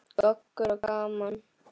Goggur og gaman.